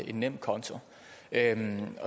en nemkonto jeg vil